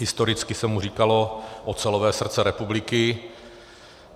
Historicky se mu říkalo ocelové srdce republiky.